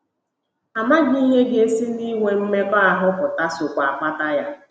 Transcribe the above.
Amaghị ihe ga - esi n’inwe mmekọahụ pụta sokwa akpata ya.